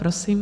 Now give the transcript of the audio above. Prosím.